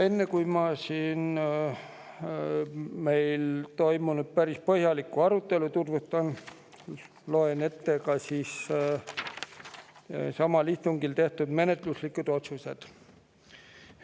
Enne, kui ma meil komisjonis toimunud päris põhjalikku arutelu tutvustan, loen ette samal istungil tehtud menetluslikud otsused.